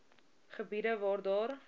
gebiede waar daar